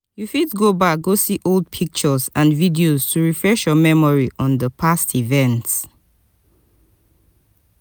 you fit go back go see old pictures and videos to refresh your memory on di past event